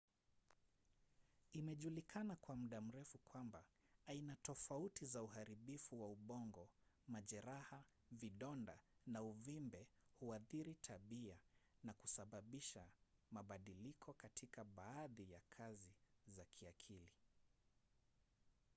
imejulikana kwa muda mrefu kwamba aina tofauti za uharibifu wa ubongo majeraha vidonda na uvimbe huathiri tabia na kusababisha mabadiliko katika baadhi ya kazi za kiakili